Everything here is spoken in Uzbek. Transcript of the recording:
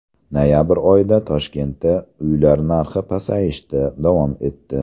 Noyabr oyida Toshkentda uylar narxi pasayishda davom etdi.